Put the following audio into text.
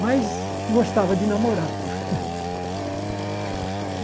Mas gostava de namorar.